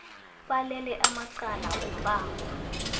balele amacala wombango